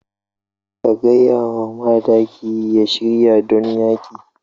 Ka gaya wa madakin ya shirya don yaƙi.